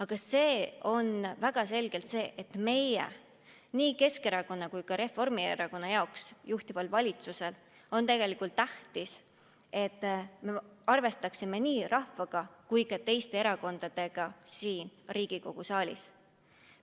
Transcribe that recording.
Ja see on väga selgelt tähtis nii Keskerakonnale kui ka Reformierakonnale, kes kuuluvad valitsusse, et me arvestaksime nii rahvaga kui ka teiste erakondadega siin Riigikogu saalis.